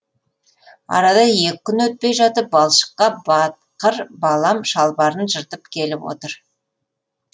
арада екі күн өтпей жатып балшыққа батқыр балам шалбарын жыртып келіп отыр